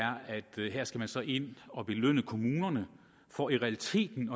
at her skal man så ind og belønne kommunerne for i realiteten